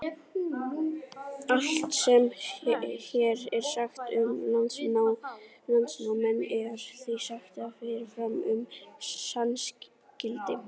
Allt sem hér er sagt um landnámsmenn er því sagt með fyrirvara um sannleiksgildi.